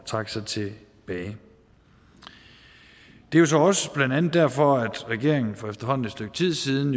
trække sig tilbage det er så også blandt andet derfor at regeringen jo for efterhånden et stykke tid siden